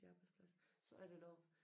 I Arbejdsplads så er der noget